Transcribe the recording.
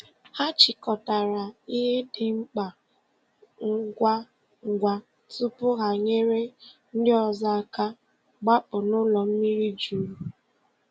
Hà chịkọtarà ihe dị mkpa ngwa ngwa tupu ha nyere ndị ọzọ aka gbapụ̀ n’ụlọ mmiri jurù.